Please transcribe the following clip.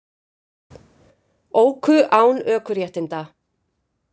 Óku án ökuréttinda